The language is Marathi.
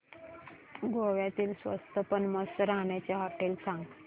गोव्यातली स्वस्त पण मस्त राहण्याची होटेलं सांग